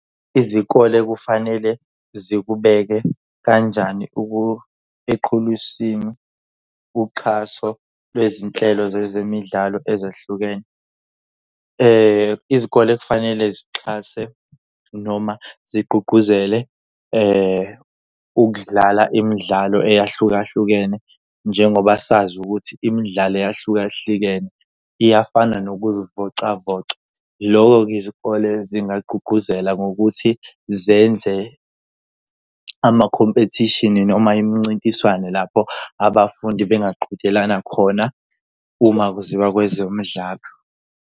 Izikole kufanele zikubeke kanjani eqhulwisini uxhaso lwezinhlelo zezemidlalo ezehlukene? Izikole kufanele zixhase noma zigqugquzele ukudlala imidlalo eyahlukahlukene. Njengoba sazi ukuthi imidlalo eyahlukahlukene iyafana nokuzivocavoca. Lokho-ke izikole zingagqugquzela ngokuthi zenze amakhompethishini noma imincintiswano lapho abafundi bengaqhudelana khona uma kuziwa kwezemidlalo.